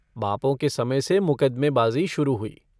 बापों के समय से मुकदमेबाज़ी शुरू हुई।